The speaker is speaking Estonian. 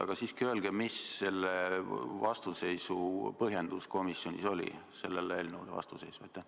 Aga siiski, öelge, mis oli komisjonis sellele eelnõule vastuseisu põhjendus.